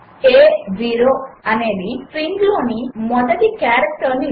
a0 అనేది స్ట్రింగ్లోని మొదటి క్యారెక్టర్ ఇస్తుంది